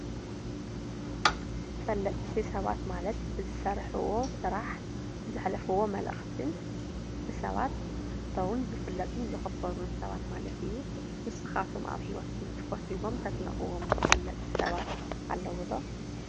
ተፈለጥቲ ሰባት ማለት ብዝሰርሕዎ ስራሕ ዘሕልፍዎ መልእክትን ብሰባት ዝፍተዉን ዝፍለጡን ዝክበሩን ሰባት ማለት እዩ፡፡ ንስካተኩም ኣብ ሂወትኩም ትፈትዉዎም ተድንቅዎም ተፈለጥቲ ሰባት ኣለዉ ዶ?